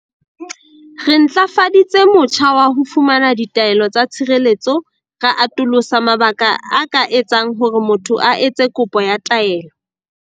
Re ntlafaditse motjha wa ho fumana ditaelo tsa tshireletso, ra atolosa mabaka a ka etsang hore motho a etse kopo ya taelo.